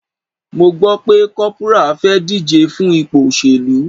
Mo gbo pe corporal fe dije fun ipo oselu